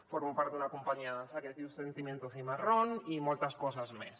formo part d’una companyia de dansa que es diu sentimiento cimarrón i moltes coses més